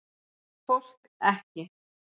Fólk ekki.